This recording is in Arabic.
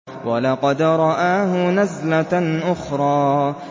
وَلَقَدْ رَآهُ نَزْلَةً أُخْرَىٰ